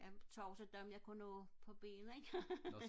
jeg tog også dem jeg kunne nå på ben ikke